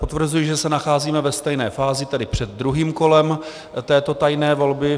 Potvrzuji, že se nacházíme ve stejné fázi, tedy před druhým kolem této tajné volby.